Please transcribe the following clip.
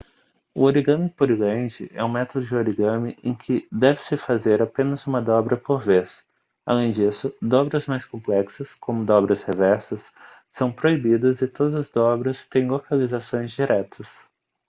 o origami pureland é um método de origami em que deve-se fazer apenas uma dobra por vez além disso dobras mais complexas como dobras reversas são proibidas e todas as dobras têm localizações diretas